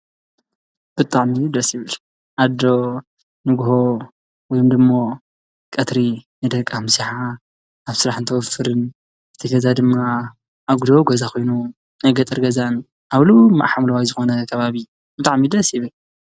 ብጣዕሚ ደስ ይብል። ኣዶ ንጉሆ ወይ ደሞ ቀትሪ ንደቃ ምስሓ ኣብ ስራሕ እትንወፍርን እቲ ገዛ ድማ ኣጉዶ ገዛ ኮይኑ ናይ ገጠር ገዛን ኣብ ልሙዕ ሓምለዋይ ዝኾነ ካባቢ ብጣዕሚ ደስ ይብል።